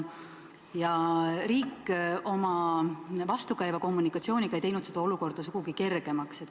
Riik oma vastukäiva kommunikatsiooniga ei teinud seda olukorda sugugi kergemaks.